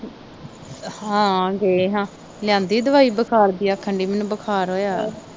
ਹਾਂ ਗਏ ਹਾਂ ਲਿਆਂਦੀ ਦਵਾਈ ਬੁਖਾਰ ਦੀ ਆਖਣ ਦੀ ਮੈਨੂੰ ਬੁਖਾਰ ਹੋਇਆ ਆ